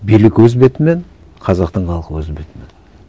билік өз бетімен қазақтың халқы өз бетімен